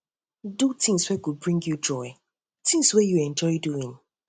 do things wey go dey bring you joy things wey you enjoy doing